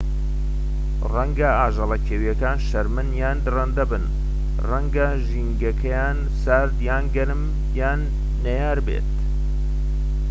ڕەنگە ئاژەڵە کێوییەکان شەرمن یان دڕندە بن ڕەنگە ژینگەکەیان سارد یان گەرم یان نەیار بێت